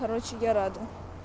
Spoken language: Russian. короче я рада